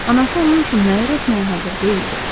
Anası onun üçün nələr etməyə hazır deyildi.